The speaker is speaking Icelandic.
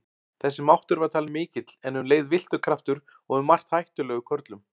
Þessi máttur var talinn mikill en um leið villtur kraftur og um margt hættulegur körlum.